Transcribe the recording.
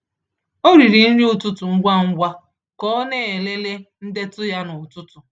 Ọ riri nri ụtụtụ ngwa ngwa ka ọ na-elele ndetu ya n’ụtụtụ.